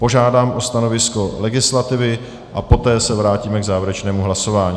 Požádám o stanovisko legislativy a poté se vrátíme k závěrečnému hlasování.